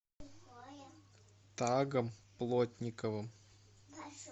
тагом плотниковым